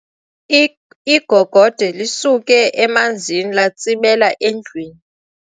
Igogode lisuke emanzini latsibela endlwini.